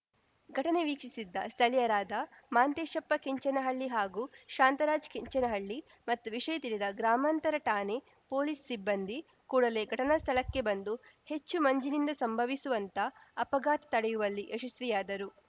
ಘಟನೆ ವೀಕ್ಷಿಸಿದ್ದ ಸ್ಥಳೀಯರಾದ ಮಾಂತೇಶಪ್ಪ ಕೆಂಚನಹಳ್ಳಿ ಹಾಗೂ ಶಾಂತರಾಜ್‌ ಕೆಂಚನಹಳ್ಳಿ ಮತ್ತು ವಿಷಯ ತಿಳಿದ ಗ್ರಾಮಾಂತರ ಠಾಣೆ ಪೊಲೀಸ್‌ ಸಿಬ್ಬಂದಿ ಕೂಡಲೇ ಘಟನಾ ಸ್ಥಳಕ್ಕೆ ಬಂದು ಹೆಚ್ಚು ಮಂಜಿನಿಂದ ಸಂಭವಿಸುವಂತ ಅಪಘಾತ ತಡೆಯುವಲ್ಲಿ ಯಶಸ್ವಿಯಾದರು